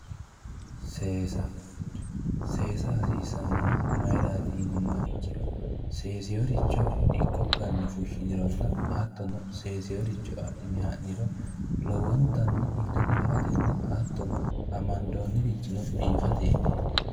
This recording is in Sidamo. Seesa, seesa hasiisanohu mayrati yinummoha ikkiha ikkiro seeseworicho dikko ganne fushinironna hattono seeseworicho adhine ha'niro lowontanni ilete la"atenna hattono amandonniri biifateti.